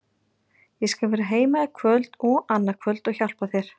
Ég skal vera heima í kvöld og annað kvöld og hjálpa þér.